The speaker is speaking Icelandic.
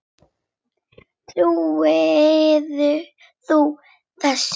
Trúir þú þessu?